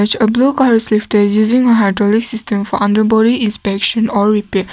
a blue car is lifted using hydraulic system for underbody inspection or repair.